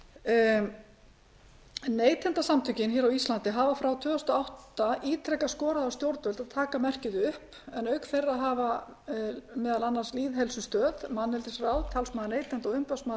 kerfi neytendasamtökin á íslandi hafa frá tvö þúsund og átta ítrekað skorað á stjórnvöld að taka merkið upp en auk þeirra hafa á lýðheilsustöð manneldisráð talsmaður neytenda og umboðsmaður